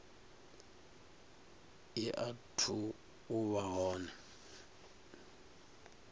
i athu u vha hone